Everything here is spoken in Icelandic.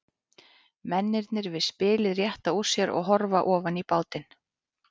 Mennirnir við spilið rétta úr sér og horfa ofan í bátinn.